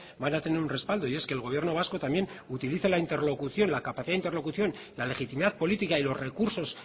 van a tener un respaldo y es que el gobierno vasco también utiliza la interlocución la capacidad interlocución y la legitimidad política y los recursos